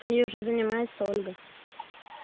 ей уже занимается ольга